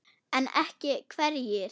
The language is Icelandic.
En ekki hverjir?